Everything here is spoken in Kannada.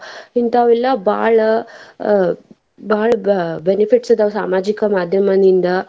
ಇಂತಾವೆಲ್ಲಾ ಬಾಳ ಬಾಳ benefits ಇದಾವ್ ಸಾಮಾಜಿಕ ಮಾದ್ಯಮದಿಂದ.